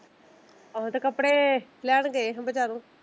ਆਹੋ ਤੇ ਕਪੜੇ ਲੈਣ ਗਏ ਹਾਂ ਬਜ਼ਾਰੋ।